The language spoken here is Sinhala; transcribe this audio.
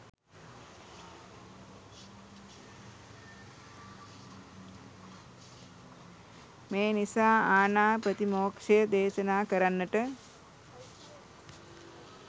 මේ නිසා ආණාප්‍රතිමෝක්ෂය දේශනා කරන්නට